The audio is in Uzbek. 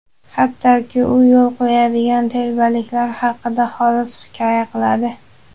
hattoki u yo‘l qo‘yadigan telbaliklar haqida xolis hikoya qiladi.